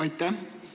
Aitäh!